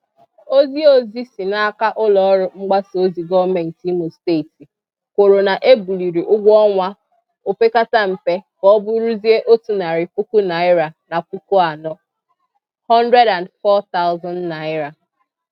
Ozi Ozi si n'aka ụlọọrụ mgbasaozi gọọmenti Imo Steeti kwuru na e buliri ụgwọnwa opekatampe ka ọ bụrụzie otu narị puku naịra na puku anọ (N104,000).